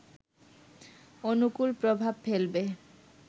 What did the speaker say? অনুকুল প্রভাব ফেলবে